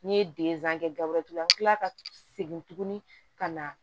N'i ye kɛ gawo tugu an bi kila ka segin tuguni ka na